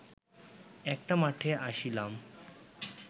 একটা মাঠে আসিলাম